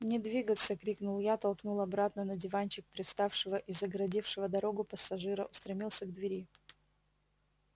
не двигаться крикнул я толкнул обратно на диванчик привставшего и загородившего дорогу пассажира устремился к двери